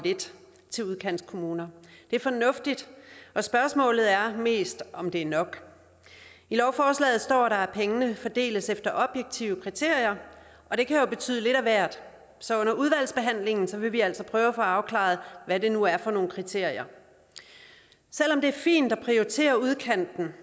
lidt til udkantskommunerne det er fornuftigt og spørgsmålet er mest om det er nok i lovforslaget står der at pengene fordeles efter objektive kriterier og det kan jo betyde lidt af hvert så under udvalgsbehandlingen vil vi altså prøve at få afklaret hvad det nu er for nogle kriterier selv om det er fint at prioritere udkanten